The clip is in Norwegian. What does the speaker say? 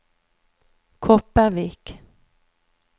Kopervik